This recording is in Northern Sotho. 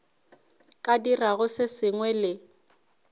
ka dirago se sengwe le